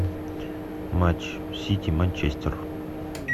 матч сити манчестер